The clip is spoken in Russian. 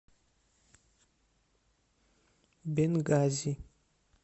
бенгази